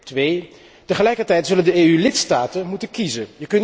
Ten tweede, tegelijkertijd zullen de EU lidstaten moeten kiezen.